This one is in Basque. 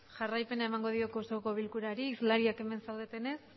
jarraipen emango diok osoko bilkurari islariak emen saudetene